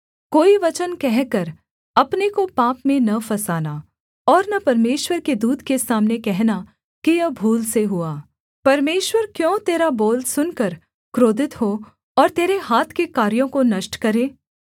कोई वचन कहकर अपने को पाप में न फँसाना और न परमेश्वर के दूत के सामने कहना कि यह भूल से हुआ परमेश्वर क्यों तेरा बोल सुनकर क्रोधित हो और तेरे हाथ के कार्यों को नष्ट करे